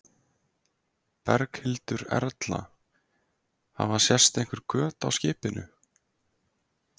Berghildur Erla: Hafa sést einhver göt á skipinu?